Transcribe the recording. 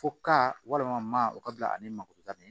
Fo ka walima ma o ka bila ale ni mako ka ɲɛ